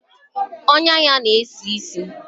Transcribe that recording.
Ọnyá ya na-esi ísì.